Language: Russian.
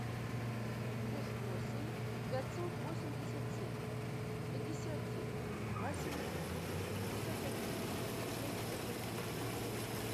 плюс восемь пятьсот восемьдесят семь пятьдесят девять восемьсот пятьдесят один семьдесят один